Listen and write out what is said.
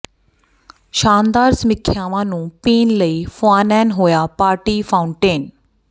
ਸ਼ਾਨਦਾਰ ਸਮੀਖਿਆਵਾਂ ਨੂੰ ਪੀਣ ਲਈ ਫੁਆਨੈਨ ਹੋਇਆ ਪਾਰਟੀ ਫਾਉਂਟੈਨ